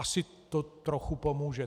Asi to trochu pomůže.